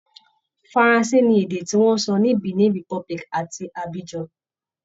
Faransé ni èdè tí wọn ń sọ ní Benin republic àti Abidjan